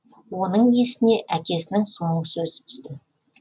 оның есіне әкесінің соңғы сөзі түсті